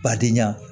Badenya